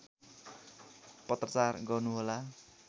पत्राचार गर्नुहोला